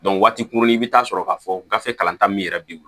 waati kunkurunni i bɛ taa sɔrɔ k'a fɔ gafe kalanta min yɛrɛ bɛ